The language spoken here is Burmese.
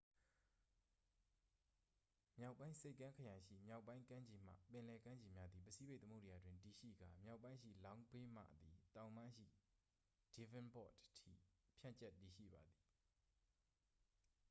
မြောက်ပိုင်းဆိပ်ကမ်းခရိုင်ရှိ မြောက်ပိုင်းကမ်းခြေမှ ပင်လယ်ကမ်းခြေများသည် ပစိဖိတ်သမုဒ္ဒရာတွင်တည်ရှိကာ မြောက်ပိုင်းရှိ long bay မှသည် တောင်ပိုင်းရှိ devonport အထိ ဖြန့်ကျက်တည်ရှိပါသည်။